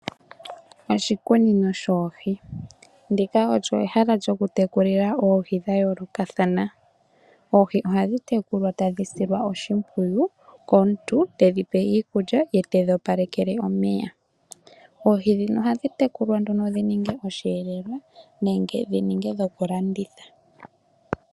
Oshikunino shoohi, ndika olyo ehala lyokutekulila oohi dhayoolokathana. Oohi ohadhi tekulwa tadhi silwa oshimpwiyu komuntu tedhi pe iikulya ye tedhi opalekele omeya. Oohi ndhino ohadhi tekulwa nduno dhininge osheelelwa nenge dhininge dhokulanditha.